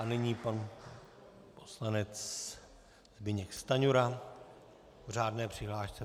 A nyní pan poslanec Zbyněk Stanjura k řádné přihlášce.